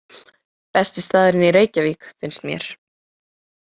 Besti staðurinn í Reykjavík, finnst mér.